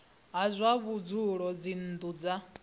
ha zwa vhudzulo dzinnu dza